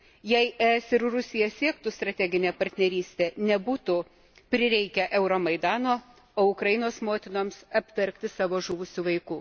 Jei ES ir Rusija siektų strateginės partnerystės, nebūtų prireikę Euromaidano, o Ukrainos motinoms apverkti savo žuvusių vaikų.